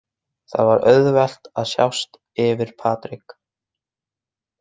Það er auðvelt að sjást yfir Patrik.